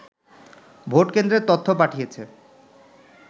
ভোটকেন্দ্রের তথ্য পাঠিয়েছে